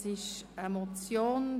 Es handelt sich um eine Motion.